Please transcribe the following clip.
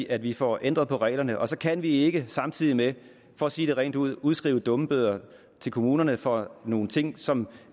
at vi får ændret på reglerne og så kan vi ikke samtidig med det for at sige det rent ud udskrive dummebøder til kommunerne for nogle ting som